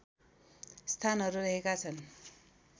स्थानहरू रहेका छन्